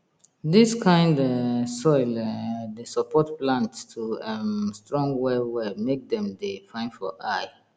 dis kind um soil um dey support plant to um strong well well make dem dey fine for eye